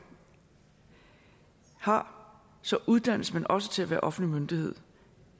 har så uddannes man også til at være offentlig myndighed